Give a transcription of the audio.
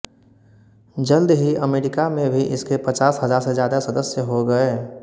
जल्द ही अमेरिका में भी इसके पचास हजार से ज्यादा सदस्य हो गए